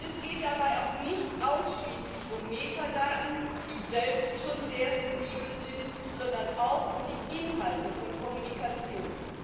Es geht dabei auch nicht ausschließlich um Metadaten, die selbst schon sehr sensibel sind, sondern auch um die Inhalte von Kommunikation.